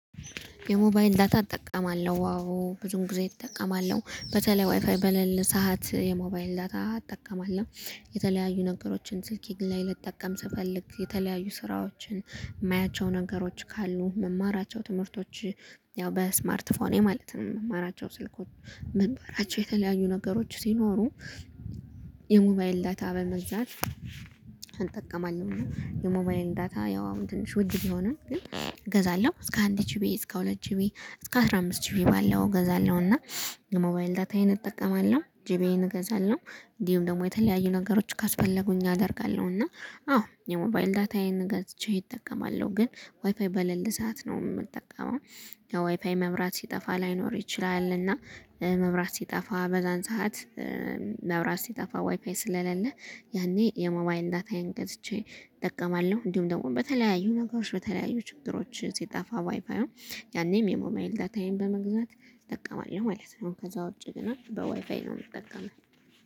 የሞባይል ዳታ እጠቀማለሁ ዋው ብዙውን ጊዜ እጠቀማለሁ። በተለይ ዋይፋይ በለለ ሰዓት የሞባይል ዳታ አጠቀማለሁ። የተለያዩ ነገሮችን ስልኬ ላይ ልጠቀም ስፈልግ የተለያዩ ስራዎችን የማያቸው ነገሮች ካሉ እምማራቸው ትምህርቶች። ያው በስማርት ፎኔ ማለት ነው እምማራቸው ስልኮች መንበራቸው የተለያዩ ነገሮች ሲኖሩ። የሞባይል ዳይታ በመግዛት እንጠቀማለን የሞባይን ዳታ ያው አሁን ትንሽ ውድ ቢሆን ግን። እገዛለሁ እስከ አንድ ጅቢ እስከ ሁለት ጅቢ እስከ አስራ አምስት ጅቢ ባለው እገዛለሁ እና። የሞባይል ዳታዬን እጠቀማለሁ ጅቢዬን እገዛለሁ። እንዲሁም ደግሞ የተለያዩ ነገሮች ካስፈለጉኝ አደርጋለሁ እና አዎ የሞባይል ዳታዬን ገዝቼ እጠቀማለሁ። ግን ዋይፓይ በሌለ ሰዓት ነው የምንጠቀመው። ያው ዋይፋይ መብራት ሲጠፋ ላይኖር ይችላል እና መብራት ሲጠፋ በዛን ሰዓት። መብራት ሲጠፋ ወይፋይ ስለሌለ ያኔ የሞባይል ዳታዬን ገዝቼ ጠቀማለሁ። እንዲሁም ደግሞ በተለያዩ ነገሮች በተለያዩ ችግሮች ሲጠፋ ዋይፋዩ ያኔም የሞባይል ዳታዬን በመግዛት እጠቀማለሁ ማለት ነው። ከዛ ውጪ ግን በዋይፋይ ነው የምጠቀመው